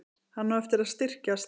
Hann á eftir að styrkjast.